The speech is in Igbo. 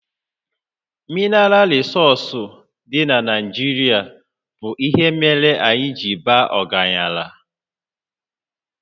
Minaral rịsọọsụ dị na Naijirịa bụ ihe mere anyị ji baa ọgaranya